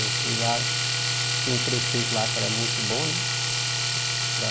Eu fui lá, tinha um prefeito lá que era muito bom, né?